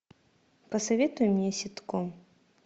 посоветуй мне ситком